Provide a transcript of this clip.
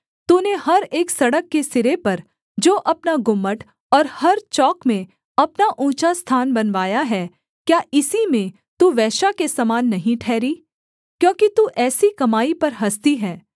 तूने हर एक सड़क के सिरे पर जो अपना गुम्मट और हर चौक में अपना ऊँचा स्थान बनवाया है क्या इसी में तू वेश्या के समान नहीं ठहरी क्योंकि तू ऐसी कमाई पर हँसती है